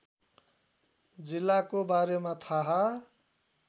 जिल्लाको बारेमा थाहा